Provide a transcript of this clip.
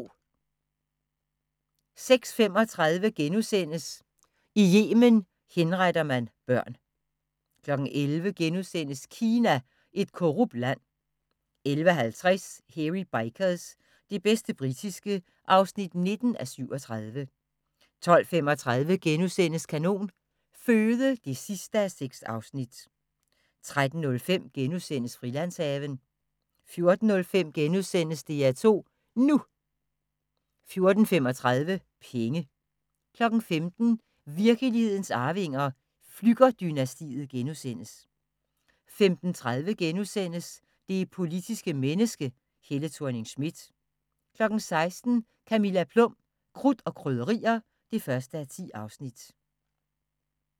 06:35: I Yemen henretter man børn * 11:00: Kina – et korrupt land * 11:50: Hairy Bikers – det bedste britiske (19:37) 12:35: Kanon Føde (6:6)* 13:05: Frilandshaven * 14:05: DR2 NU * 14:35: Penge 15:00: Virkelighedens Arvinger: Flügger-dynastiet * 15:30: Det politiske menneske – Helle Thorning-Schmidt * 16:00: Camilla Plum – Krudt og krydderier (1:10)